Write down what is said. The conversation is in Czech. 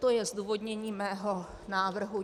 To je zdůvodnění mého návrhu.